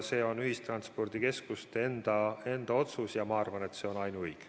See on ühistranspordikeskuste enda otsus ja ma arvan, et see on ainuõige.